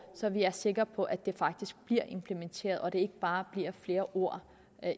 så vi er sikre på at det faktisk bliver implementeret og at det ikke bare bliver flere ord